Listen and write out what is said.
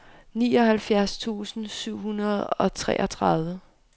nioghalvfjerds tusind syv hundrede og treogtredive